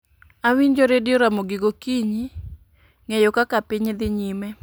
Awinjo redio ramogi gokinyi ng'eyo kaka piny dhi nyime